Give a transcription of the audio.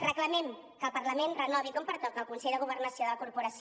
reclamem que el parlament renovi com pertoca el consell de governació de la corporació